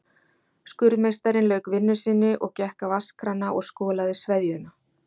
Skurðmeistarinn lauk vinnu sinni og gekk að vatnskrana og skolaði sveðjuna.